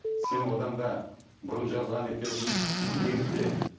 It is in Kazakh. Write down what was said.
сен одан да бұрын жазған екенсің ерте